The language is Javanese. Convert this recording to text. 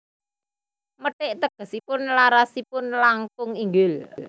Methit tegesipun larasipun langkung inggil